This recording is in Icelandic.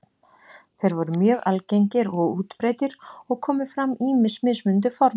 Þeir voru mjög algengir og útbreiddir og komu fram ýmis mismunandi form þeirra.